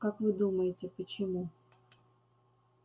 как вы думаете почему